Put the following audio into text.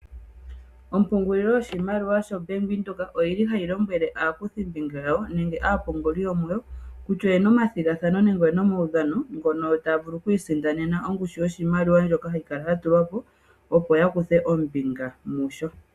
Ompungulilo yoshimaliwa sha Venduka oyili hayi lombwele aakuthimbinga yawo nenge aapunguli yomuyo, kutya oyena omathigathano nenge oyena omaudhano ngono taya vulu oku isindanena ongushu yoshimaliwa ndjoka hayi kala ya tulwa po, opo ya kutye ombinga mu sho.